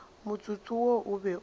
motsotso wo o be o